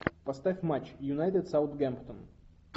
поставь матч юнайтед саутгемптон